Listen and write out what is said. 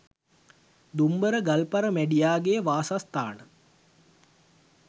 දුම්බර ගල්පර මැඬියා ගේ වාසස්ථාන